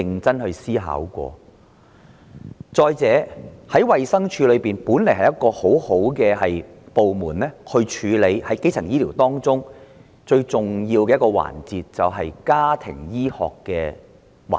再者，衞生署本來有個很好的部門，負責處理基層醫療中最重要的環節——家庭醫學。